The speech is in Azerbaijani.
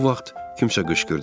Bu vaxt kimsə qışqırdı: